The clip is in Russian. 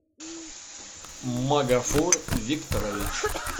магафор викторович